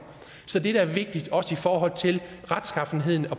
så det der er vigtigt også i forhold til